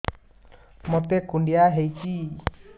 ମୋତେ କୁଣ୍ଡିଆ ହେଇଚି